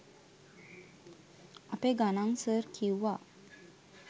අපේ ගණං සර් කිව්වා